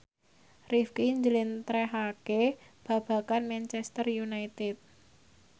Rifqi njlentrehake babagan Manchester united